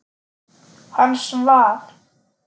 Hann svaf.